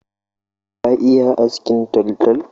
Ka iya askin taltal?